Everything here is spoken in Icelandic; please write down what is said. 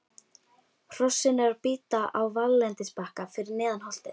Hrossin eru að bíta á valllendisbakka fyrir neðan holtið.